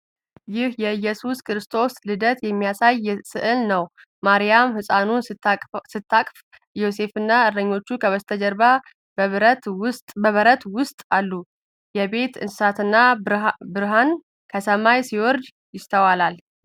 ይህ የኢየሱስ ክርስቶስን ልደት የሚያሳይ ሥዕል ነው። ማርያም ሕፃኑን ስታቅፍ፣ ዮሴፍና እረኞች ከበስተጀርባ በበረት ውስጥ አሉ። የቤት እንስሳትና ብርሃን ከሰማይ ሲወርድበት ይስተዋላል።